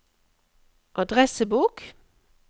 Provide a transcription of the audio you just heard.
adressebok